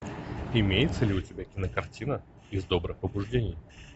имеется ли у тебя кинокартина из добрых побуждений